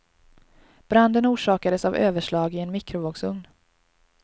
Branden orsakades av överslag i en mikrovågsugn.